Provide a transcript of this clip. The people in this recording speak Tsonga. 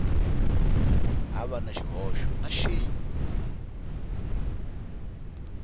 hava na xihoxo na xin